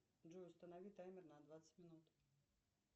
джой установи таймер на двадцать минут